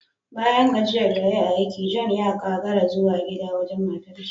Bayan gajiyar da yayi a aiki, John ya kagara yazo gida wajen matarshi